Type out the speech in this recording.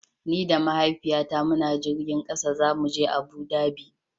Ni da Mahaifiyata muna jirgin ƙasa zamu je Abu Dhabi.